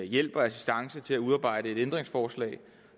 hjælp og assistance til at udarbejde et ændringsforslag